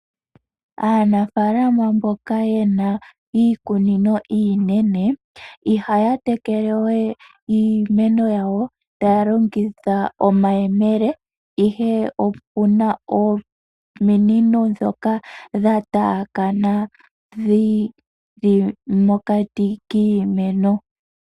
Aanafalama mboka yena iikunino iinene ihaya tekelewe iimeno yawo taya longitha omayemele, ihe opuna ominino dhoka dha tayakana dhili mokati kiimeno.